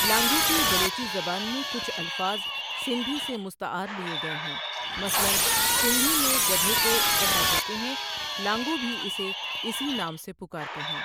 لانگو کی بلوچی زبان میں کچھ الفاظ سندھی سے مستعار لیے گئے ہیں، مثلا سندھی میں گدھے کو گڈا کہتے ہیں، لانگو بھی اسے اسی نام سے پکارتے ہیں۔